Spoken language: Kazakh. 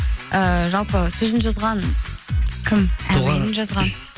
ііі жалпы сөзін жазған кім әуенін жазған